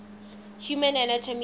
human anatomy